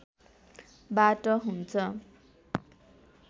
बाट हुन्छ